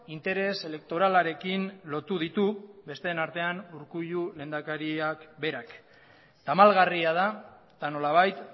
interes elektoralarekin lotu ditu besteen artean urkullu lehendakariak berak tamalgarria da eta nolabait